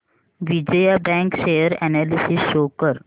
Vijaya bank share analysis show कर